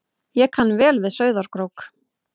Ég kann vel við Sauðárkrók.